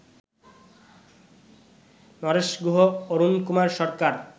Naresh Guha, Arunkumar Sarkar